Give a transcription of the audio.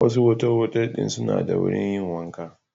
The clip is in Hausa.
Wasu otal-otal ɗin suna da wurin yin wanka.